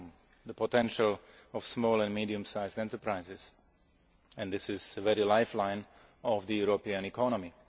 full the potential of small and medium sized enterprises. This is the very lifeline of the European economy.